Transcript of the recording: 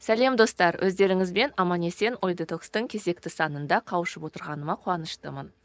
сәлем достар өздеріңізбен аман есен ой детокстың кезекті санында қауышып отырғаныма қуаныштымын